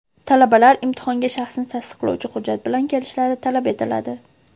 Talabalar imtihonga shaxsni tasdiqlovchi hujjat bilan kelishlari talab etiladi.